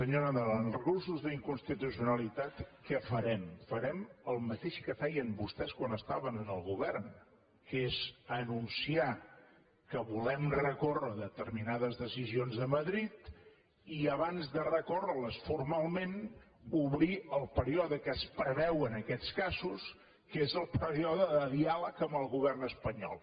senyor nadal en els recursos d’inconstitucionalitat què farem farem el mateix que feien vostès quan estaven en el govern que és anunciar que volem recórrer contra determinades decisions de madrid i abans de recórrer hi formalment obrir el període que es preveu en aquests casos que és el període de diàleg amb el govern espanyol